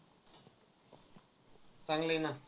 चांगलं आहे ना.